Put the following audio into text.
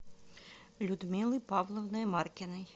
людмилой павловной маркиной